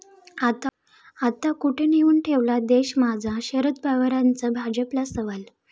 आता, कुठे नेऊन ठेवला देश माझा?, शरद पवारांचा भाजपला सवाल